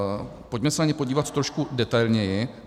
Pojďme se na ně podívat trošku detailněji.